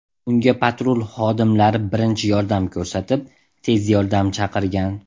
Unga patrul xodimlari birinchi yordam ko‘rsatib, tez yordam chaqirgan.